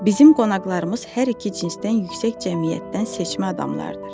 Bizim qonaqlarımız hər iki cinsdən yüksək cəmiyyətdən seçmə adamlardır.